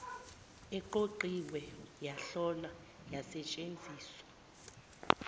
eqoqiwe yahlolwa yasetshenziswa